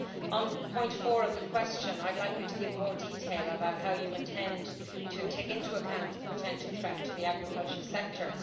So, on point 4 of the question I would like you to give more detail about how you intend to take into account the potential threat to the agricultural sector.